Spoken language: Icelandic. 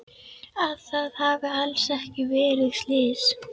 Að það hafi alls ekki verið slys.